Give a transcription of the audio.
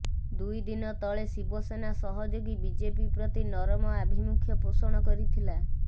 ଦୁଇ ଦିନ ତଳେ ଶିବସେନା ସହଯୋଗୀ ବିଜେପି ପ୍ରତି ନରମ ଆଭିମୁଖ୍ୟ ପୋଷଣ କରିଥିଲା